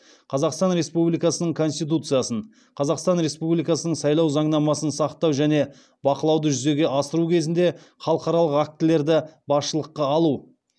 қазақстан республикасының конституциясын қазақстан республикасының сайлау заңнамасын сақтау және бақылауды жүзеге асыру кезінде халықаралық актілерді басшылыққа алу